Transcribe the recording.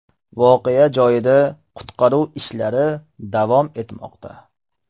Voqea joyida qutqaruv ishlari davom etmoqda.